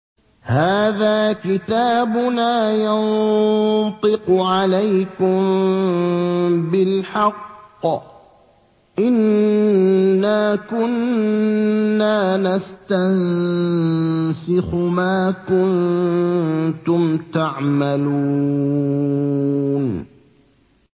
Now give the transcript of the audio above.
هَٰذَا كِتَابُنَا يَنطِقُ عَلَيْكُم بِالْحَقِّ ۚ إِنَّا كُنَّا نَسْتَنسِخُ مَا كُنتُمْ تَعْمَلُونَ